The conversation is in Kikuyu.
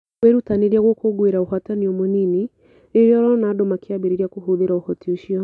Wĩrutanĩrie gũkũngũĩra ũhootani o mũnini rĩrĩa ũrona andũ makĩambĩrĩria kũhũthĩra ũhoti ũcio.